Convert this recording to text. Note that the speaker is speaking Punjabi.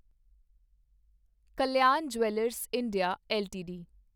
Kalyan jewellers India LTD